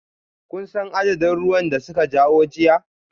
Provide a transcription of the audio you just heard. Kun san adadin ruwan da suka kawo jiya?